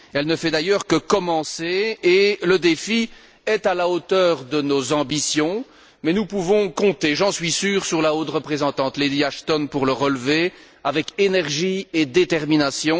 Elle ne fait d'ailleurs que commencer et le défi est à la hauteur de nos ambitions, mais nous pouvons compter, j'en suis sûr, sur la haute représentante, Lady Ashton, pour le relever avec énergie et détermination.